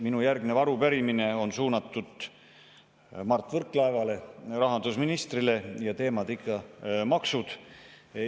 Minu järgnev arupärimine on suunatud Mart Võrklaevale, rahandusministrile, ja teemad on ikka maksud.